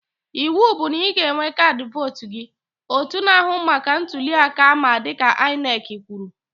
Ịwụ bụ na ị ga-enwe kaadị vootu gị! Otu na-ahụ maka ntụli aka ama dịka INEC kwuru